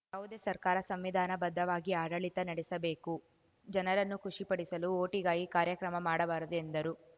ಯಾವುದೇ ಸರ್ಕಾರ ಸಂವಿಧಾನ ಬದ್ಧವಾಗಿ ಆಡಳಿತ ನಡೆಸಬೇಕು ಜನರನ್ನು ಖುಷಿ ಪಡಿಸಲು ಓಟಿಗಾಗಿ ಕಾರ್ಯಕ್ರಮ ಮಾಡಬಾರದು ಎಂದರು